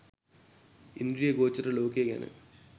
ඉන්ද්‍රිය ගෝචර ලෝකය ගැන